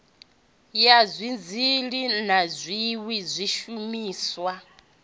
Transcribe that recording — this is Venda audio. ya dizili na zwiwe zwishumiswa